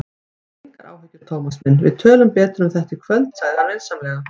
Hafðu engar áhyggjur, Thomas minn, við tölum betur um þetta í kvöld sagði hann vinsamlega.